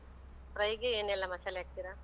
fry ಗೆ ಏನೆಲ್ಲ ಮಸಾಲೆ ಹಾಕ್ತಿರಾ?